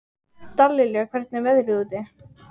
Dallilja, hvernig er veðrið úti?